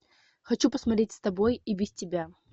хочу посмотреть с тобой и без тебя